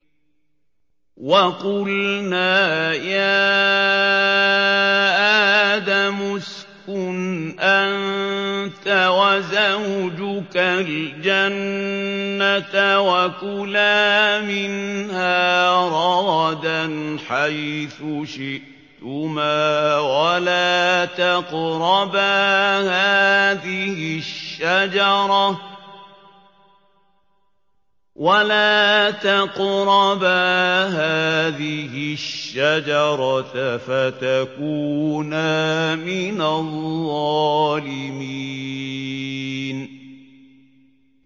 وَقُلْنَا يَا آدَمُ اسْكُنْ أَنتَ وَزَوْجُكَ الْجَنَّةَ وَكُلَا مِنْهَا رَغَدًا حَيْثُ شِئْتُمَا وَلَا تَقْرَبَا هَٰذِهِ الشَّجَرَةَ فَتَكُونَا مِنَ الظَّالِمِينَ